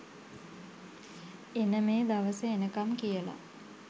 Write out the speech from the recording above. එන මේ දවස එනකම් කියලා.